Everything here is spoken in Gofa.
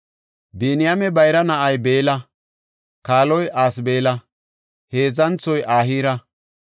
Biniyaame bayra na7ay Beella; kaaloy Asbeela; heedzanthoy Ahira;